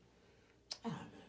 Ah